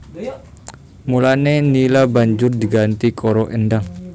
Mulané Nila banjur diganti karo Endang